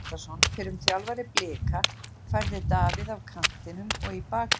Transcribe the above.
Arnar Grétarsson, fyrrum þjálfari Blika, færði Davíð af kantinum og í bakvörðinn.